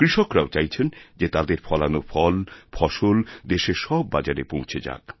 কৃষকরাও চাইছেন যে তাদেরফলানো ফল ফসল দেশের সব বাজারে পৌঁছে যাক